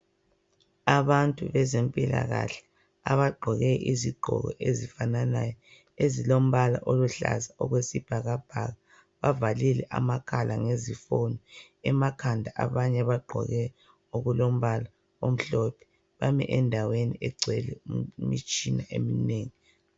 Abantu abezempilakahle abagqoke impahla ezifananayo ezilombala wesibhakabhaka bazivalile amakhala abanye bagqoke okulombala omhlophe bami endaweni engcwele imitshina eminengi